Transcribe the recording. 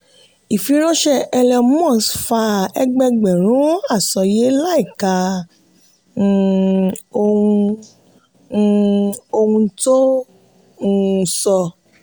ifiránṣẹ́ elon musk fa ẹgbẹẹgbẹ̀rún àsọyé láìka um ohun um ohun tó um sọ.